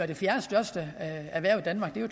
det fjerdestørste erhverv i danmark det